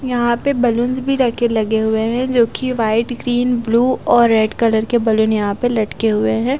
यहाँ पे बलूनस भी रखे लगे हुए हैं जो कि व्हाइट ग्रीन ब्लू और रेड कलर के बलून यहाँ पे लटके हुए हैं।